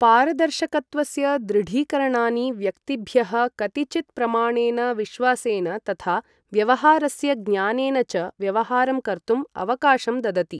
पारदर्शकत्वस्य दृढीकरणानि व्यक्तिभ्यः कतिचित् प्रमाणेन विश्वासेन तथा व्यवहारस्य ज्ञानेन च व्यवहारं कर्तुम् अवकाशं ददति।